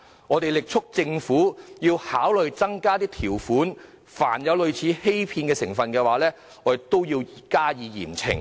我們力促政府考慮增加條款，凡有類似欺騙成分，便應嚴懲。